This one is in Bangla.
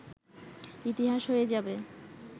ইতিহাস হয়ে যাবে